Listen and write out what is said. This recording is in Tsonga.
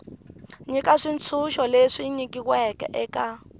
nyika xitshunxo lexi nyikiweke eka